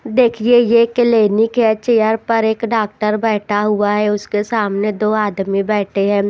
देखिए ये क्लिनिक है चेयर पर एक डॉक्टर बैठा हुआ है उसके सामने दो आदमी बैठे है।